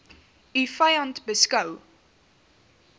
u vyand beskou